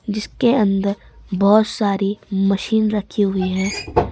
जिसके अंदर बहोत सारी मशीन रखी हुई है।